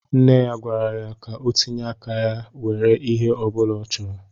Nne ya gwara ya ka o tinye áká nwèrè ihé ọbula ọ chọrọ